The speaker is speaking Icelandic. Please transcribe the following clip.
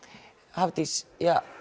Hafdís